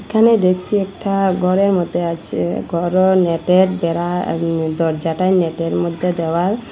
এখানে দেখছি একটা ঘরের মধ্যে আছে ঘরো নেটের ঘেরা আ দরজাটাই নেটের মধ্যে দেওয়াল--